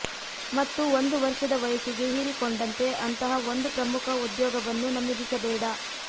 ಮತ್ತು ಒಂದು ವರ್ಷದ ವಯಸ್ಸಿಗೆ ಹೀರಿಕೊಂಡಂತೆ ಅಂತಹ ಒಂದು ಪ್ರಮುಖ ಉದ್ಯೋಗವನ್ನು ನಮೂದಿಸಬೇಡ